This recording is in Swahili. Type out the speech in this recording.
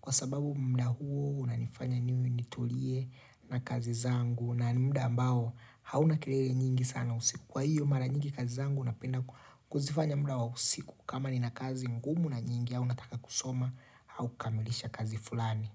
kwa sababu mda huo unanifanya niwe nitulie na kazi zangu na ni mda ambao hauna kelele nyingi sana usiku. Kwa hiyo mara nyingi kazi zangu napenda kuzifanya mda wa usiku kama nina kazi ngumu na nyingi au nataka kusoma au kukamilisha kazi fulani.